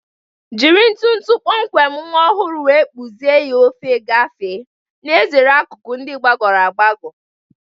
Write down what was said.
Jiri ntu ntu kpọmkwem nwa ọhụrụ wee kpụzie ya n'ofe gafee, na-ezere akụkụ ndị gbagọrọ agbagọ.